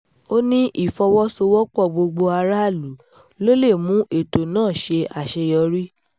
ó ní ìfọwọ́sowọ́pọ̀ gbogbo aráàlú ló lè mú ètò náà ṣe àṣeyọrí